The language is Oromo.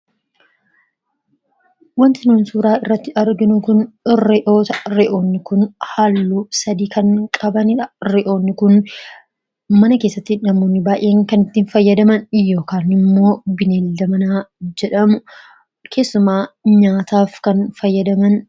Wanti suuraa irratti argamu kun Ree'ota dha. Ree'onn kunis halluu sadii kan qaban yammuu ta'u akkasumas ree'ota kana namoonni mana keessatti kan itti fayyadamanii dha. Ree'onni kunis beeylada manaa fi nyaataaf kan oolanii dha.